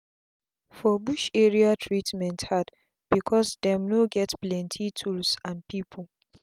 for bush area treatment hard becos dem no get plenti tools and pipu